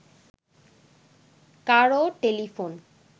কারও টেলিফোন